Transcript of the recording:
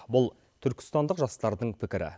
бұл түркістандық жастардың пікірі